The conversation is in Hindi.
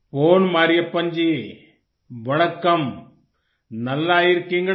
पोन मरियप्पन जी वणकम्म नल्ला इर किंगडा